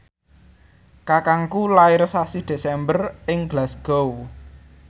kakangku lair sasi Desember ing Glasgow